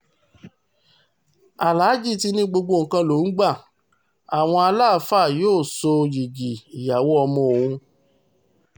aláàjì ti ní gbogbo nǹkan lòún gba àwọn aláàfáà yóò sọ yigi ìyàwó ọmọ òun